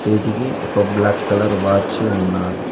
చేతికి ఒక black colour watch ఉన్నాది.